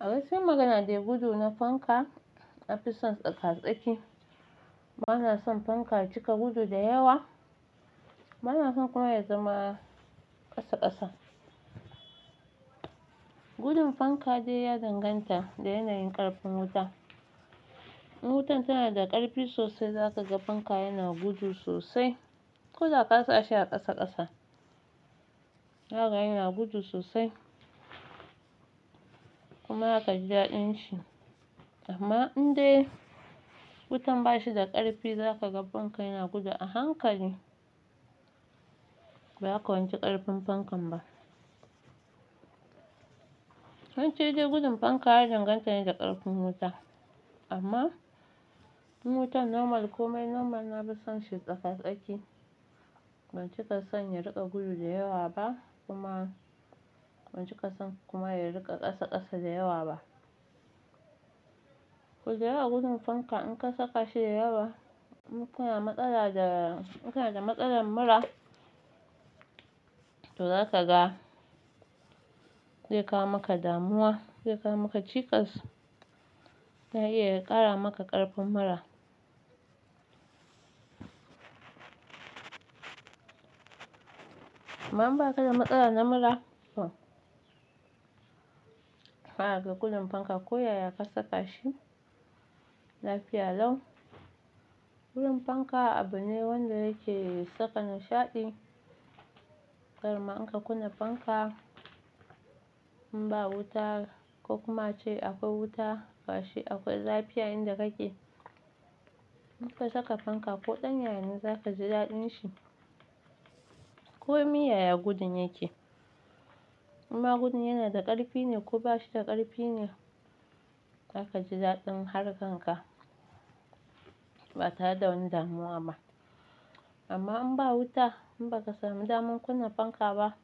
A wasu magana dai gudu na fanka na fi son tsaka tsaki. Bana son fanka ya cika gudu da yawa, bana son kuma ya zama ƙasa ƙasa. Gudun fanka dai ya danganta da yanayin ƙarfin wuta. In wutan tana da ƙarfi sosai za ka ga fanka yana gudu sosai ko da ka sa shi a ƙasa ƙasa. Za a ga yana gudu sosai kuma za ka ji daɗin shi, amma in dai wutan ba shi da ƙarfi za ka ga fanka yana gudu a hankali. Ba ka wanci ƙarfin fankan ba. Wance dai gudun fanka ya danganta ne da ƙarfin wuta amma in wutan normal komai normal na fi son shi tsaka tsaki. Ban cika son ya riƙa gudu da yawa ba kuma ban cika son kuma ya riƙa ƙasa ƙasa da yawa ba. Ku gera gudun fanka in ka saka shi da yawa, in kana matsala da, in kana da matsalar mura to za ka ga zai kawo maka damuwa, zai kawo maka cikas, na iya ya ƙara maka ƙarfin mura. Amma in ba ka da matsala na mura, zaka ga gudun fanka ko yaya ka saka shi lafiya lau. Gudun fanka abu ne wanda yake saka nishaɗi, kar ma in ka kunna fanka in ba wuta ko kuma ace akwai wuta ga shi akwai zafi a inda kake. In ka saka fanka koɗan yaya ne za ka ji daɗin shi. Ko miya ya gudun yake. Imma gudun yana da ƙarfi ne ko ba shi da ƙarfi ne, za ka ji daɗin harkan ka ba tare da wani damuwa ba. Amma in ba wuta in ba ka sami damar kunna fanka ba,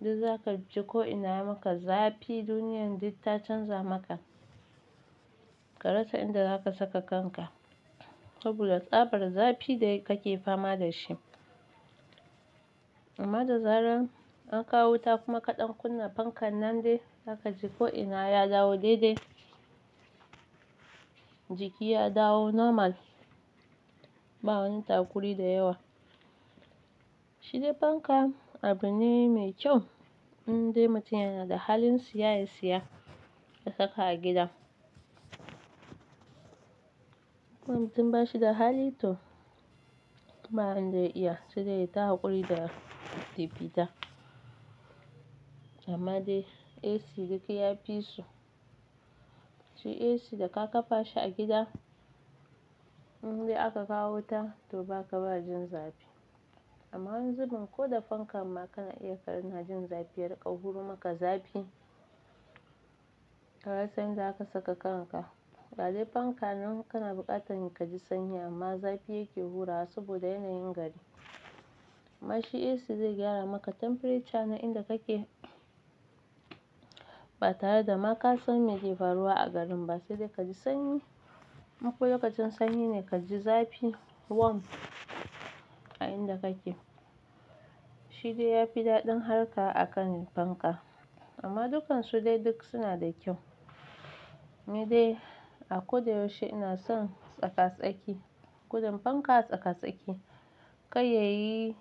duk za ka ji ko ina ya maka zafi, duniyan duk ta canza maka. Ka rasa inda za ka saka kanka saboda tsabar zafi da kake fama da shi. Amma da zarar an kawo wuta kuma kaɗan kunna fankan nan dai za ka ji ko ina ya dawo daidai. Jiki ya dawo normal ba wani takuri da yawa. Shi dai fanka abu ne mai kyau in dai mutum yana da halin seya ya seya ya saka a gida. Ko mutum ba shi da hali to ba yanda ya iya sai dai ya yi ta hakuri da pipita. Amma dai AC duk ya fi su. Shi AC da ka kafa shi a gida in dai aka kawo wuta to ba ka ba jin zafi. Amma wani zubin ko da fanka amma kana iya kana jin zafi, ya riƙa hura maka zafi. Ka rasa inda za ka saka kanka. Ga dai fanka nan kana buƙatan ka ji sanyi amma zafi yake hurawa saboda yanayin gari. Amma shi AC zai gyara maka temperature na inda kake ba tare da ma ka san meke faruwa a garin ba. Sai dai ka ji sanyi in ko lokacin sanyi ne ka ji zafi warm a inda kake. Shi dai ya fi daɗin harka a kan fanka. Amma dukansu dai duk suna da kyau. Ni dai a ko da yaushe ina son tsaka tsaki. Gudun fanka tsaka tsaki kar yayi,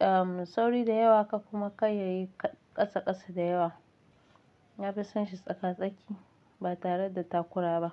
um, sauri da yawa kar kuma kar yayi ƙasa ƙasa da yawa. Na fi son shi tsaka tsaki ba tare da takura ba.